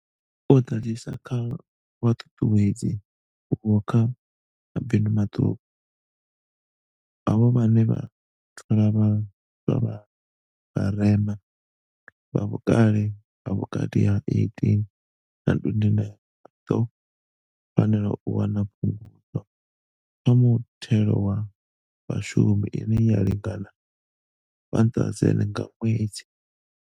U ḓadzisa kha vhuṱuṱuwedzi uho kha mabindu maṱuku, havho vhane vha thola vha swa vha vharema, vha vhukale ha vhukati ha 18 na 29, vha ḓo fanela u wana Phungudzo kha Muthelo wa Vhashumi ine ya lingana R1 000 nga ṅwedzi.